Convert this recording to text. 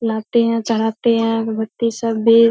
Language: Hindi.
लाते हैं चढ़ाते हैं अगरबत्ती सब भी --